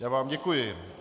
Já vám děkuji.